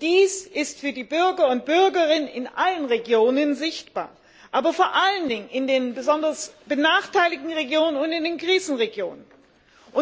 Dies ist für die Bürgerinnen und Bürger in allen Regionen sichtbar, vor allen Dingen aber in den besonders benachteiligten Regionen und in den Krisenregionen.